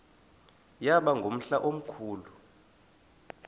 yaba ngumhla omkhulu